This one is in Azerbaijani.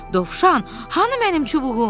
Dovşan, hanı mənim çubuğum?